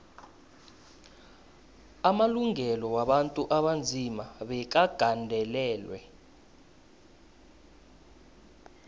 amalungelo wabantu abanzima bekagandelelwe